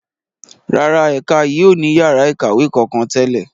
Rárá, ẹ̀ka yìí ó ní yàrá ikawe kankan tẹ́lẹ̀.